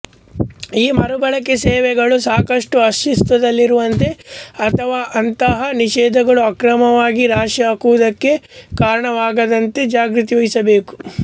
ಈ ಮರುಬಳಕೆ ಸೇವೆಗಳು ಸಾಕಷ್ಟು ಅಸ್ತಿತ್ವದಲ್ಲಿರುವಂತೆ ಅಥವಾ ಅಂತಹ ನಿಷೇಧಗಳು ಅಕ್ರಮವಾಗಿ ರಾಶಿಹಾಕುವುದಕ್ಕೆ ಕಾರಣವಾಗದಂತೆ ಜಾಗೃತೆ ವಹಿಸಬೇಕು